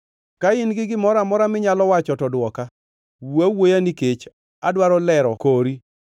Ka in gi gimoro amora minyalo wacho, to dwoka; wuo awuoya, nikech adwaro lero kori,